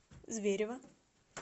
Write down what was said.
зверево